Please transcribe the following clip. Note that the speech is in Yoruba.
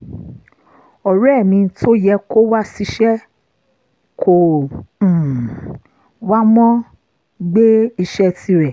ọ̀rẹ́ mi tó yẹ kó wá ṣìṣe kò um wá mo gbé iṣẹ́ tirẹ̀